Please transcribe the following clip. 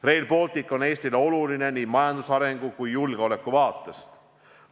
Rail Baltic on Eestile oluline nii majandusarengu kui ka julgeoleku vaatest.